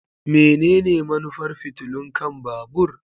Menene manufar fitilun kan babur?